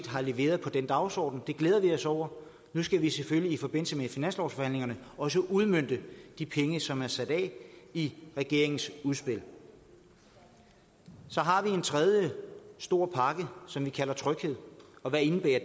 har leveret på den dagsorden det glæder vi os over nu skal vi selvfølgelig i forbindelse med finanslovsforhandlingerne også udmønte de penge som er sat af i regeringens udspil så har vi en tredje stor pakke som vi kalder tryghed og hvad indebærer